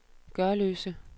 Gørløse